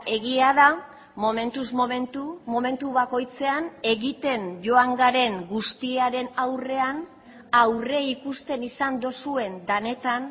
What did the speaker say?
egia da momentuz momentu momentu bakoitzean egiten joan garen guztiaren aurrean aurreikusten izan duzuen denetan